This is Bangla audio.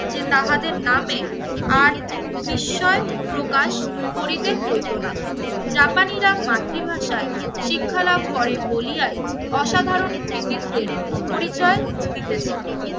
যে তাহাদের নামে আজ বিস্ময় প্রকাশ করিতে হইতো না। জাপানীরা মাতৃভাষায় শিক্ষালাভ করে বলিয়ায় অসাধারণ কৃতিত্বের পরিচয় দিতেছে।